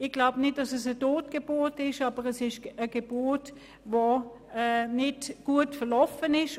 Ich glaube nicht, dass es eine Totgeburt ist, aber es ist eine Geburt, die nicht gut verlaufen ist.